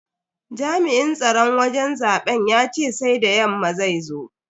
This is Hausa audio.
Jami'in tsaron wajen zaben yace sai da yamma zai zo.